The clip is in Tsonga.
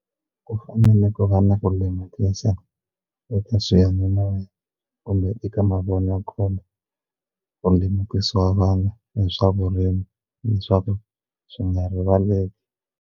Ku fanele ku va na ku lemukisa eka swiyanimoya kumbe eka mavonakule ku lemukisa vanhu hi swa vurimi leswaku swi nga rivaleki.